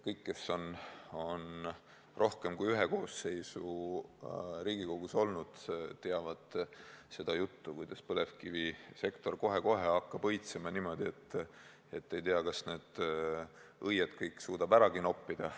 Kõik, kes on rohkem kui ühe koosseisu Riigikogus olnud, teavad seda juttu, kuidas põlevkivisektor kohe-kohe hakkab õitsema niimoodi, et ei tea, kas need õied kõik suudetakse äragi noppida.